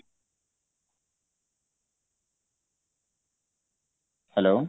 hello